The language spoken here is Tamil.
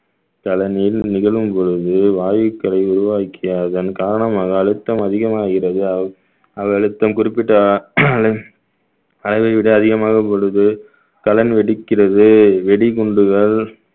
நிகழும் பொழுது வாயுக்களை உருவாக்கிய அதன் காரணமாக அழுத்தம் அதிகமாகிறது அ~ அவை அழுத்தம் குறிப்பிட்ட அ~ அளவு அளவை விட அதிகமாக வெடிக்கிறது வெடிகுண்டுகள்